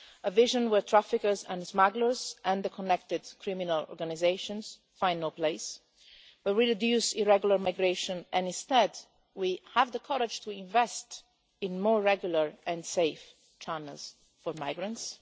a vision where traffickers and smugglers and the connected criminal organisations find no place, where we reduce irregular migration and instead we have the courage to invest in more regular and safe channels for migrants.